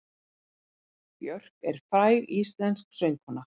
Björk er fræg íslensk söngkona.